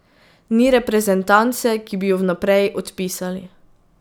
Ni reprezentance, ki bi jo vnaprej odpisali.